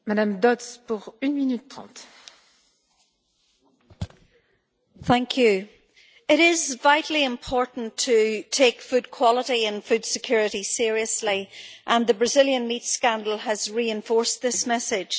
Madam President, it is vitally important to take food quality and food security seriously and the Brazilian meat scandal has reinforced this message.